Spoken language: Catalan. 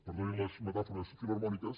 perdonin les metàfo·res filharmòniques